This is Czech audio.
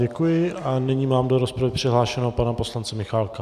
Děkuji a nyní mám do rozpravy přihlášeného pana poslance Michálka.